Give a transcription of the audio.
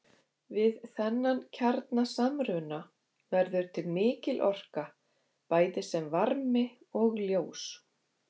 Við þennan kjarnasamruna verður til mikil orka bæði sem varmi og ljós.